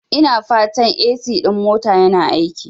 Ina fatan AC ɗin motan yana aiki?